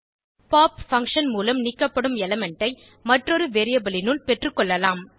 pop function மூலம் நீக்கப்படும் element ஐ மற்றொரு வேரியபிள் னுள் பெற்றுக்கொள்ளலாம்